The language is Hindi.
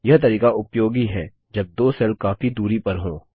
यह तरीका उपयोगी है जब दो सेल काफी दूरी पर हों